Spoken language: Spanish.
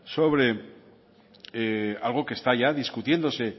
sobre algo que está ya discutiéndose